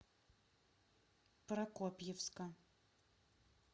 прокопьевска